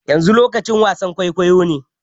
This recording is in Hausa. Yanzu lokacin wasan kwaikwayo ne